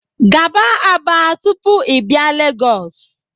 Gaba Aba tupu i bia Lagos